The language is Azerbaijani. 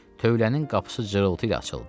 Tövlənin qapısı zırıltı ilə açıldı.